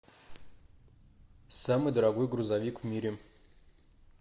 самый дорогой грузовик в мире